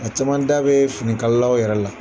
A caman da bɛ finikalalaw yɛrɛ la